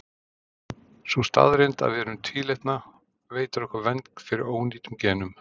sú staðreynd að við erum tvílitna veitir okkur vernd fyrir ónýtum genum